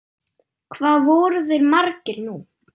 Hvað voru þeir margir nú?